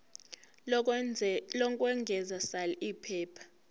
lokwengeza sal iphepha